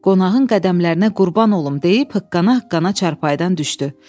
Qonağın qədəmlərinə qurban olum deyib hıqqana-hıqqana çarpayıdan düşdü.